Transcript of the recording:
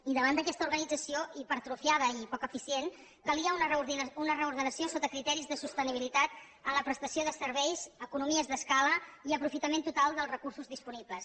i davant d’aquesta organització hipertrofiada i poc eficient calia una reordenació sota criteris de sostenibilitat en la prestació de serveis economies d’escala i aprofitament total dels recursos disponibles